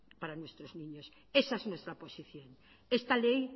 para nuestros niños esa es nuestra posición esta ley